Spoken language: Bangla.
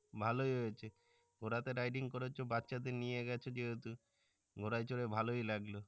ভালই হয়েছে ঘোড়া তে riding করেছো বাচ্চাদের নিয়ে গেছো যেহেতু ঘোরায় চরে ভালোয় লাগলো